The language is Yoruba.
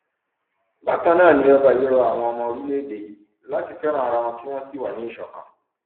bákan náà ni ọba yìí rọ àwọn ọmọ orílẹèdè yìí láti fẹràn ara wọn kí wọn sì wà ní ìṣọkan